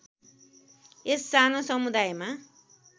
यस सानो समुदायमा